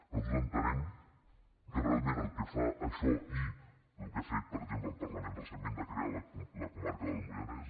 nosaltres entenem que realment el que fa això i el que ha fet per exemple el parlament recentment de crear la comarca del moianès